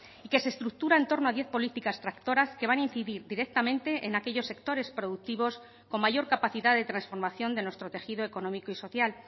y que se estructura en torno a diez políticas tractoras que van a incidir directamente en aquellos sectores productivos con mayor capacidad de transformación de nuestro tejido económico y social